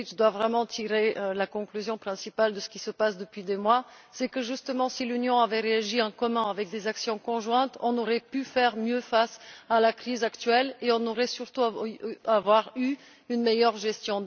Etheridge doit vraiment tirer la conclusion principale de ce qu'il se passe depuis des mois, c'est à dire que justement si l'Union avait réagi en commun avec des actions conjointes, nous aurions pu faire mieux face à la crise actuelle et nous aurions surtout eu une meilleure gestion.